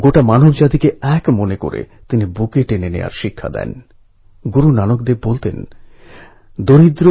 এই অ্যাপএ গ্রামের telephone directory news section events list health centre information centre সবই দেওয়া আছে